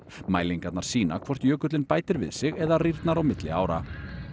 mælingarnar sýna hvort jökullinn bætir við sig eða rýrnar á milli ára